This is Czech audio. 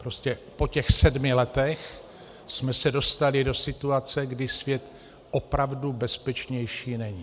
Prostě po těch sedmi letech jsme se dostali do situace, kdy svět opravdu bezpečnější není.